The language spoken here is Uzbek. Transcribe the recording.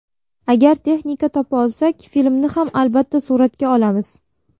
Agar texnika topa olsak, filmni ham albatta suratga olamiz.